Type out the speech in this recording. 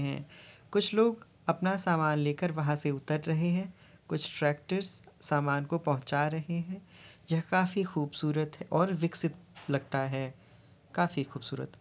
कुछ लोग अपना सामान लेकर वहां से उतर रहें हैं कुछ ट्रैक्टरस सामान को पहुंच रहे हैं यह काफी खुबसूरत और विकसित लगता है काफी खुबसूरत --